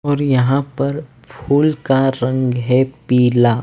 और यहां पर फूल का रंग है पीला।